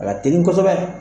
A ka teli kosɛbɛ